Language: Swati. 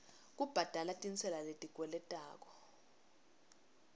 kubhadala tintsela letikweletwako